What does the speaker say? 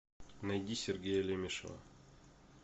найди сергея лемешева